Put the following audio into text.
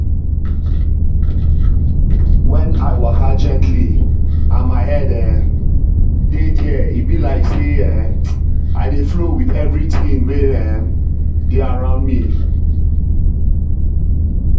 when i waka gently and my head um dey there e be like say um i dey flow with everything wey um dey around me.